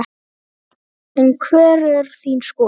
En hver er þín skoðun?